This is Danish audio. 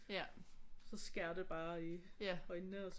Så skærer det bare i øjnene og så